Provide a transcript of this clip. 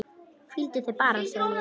Hvíldu þig bara, segi ég.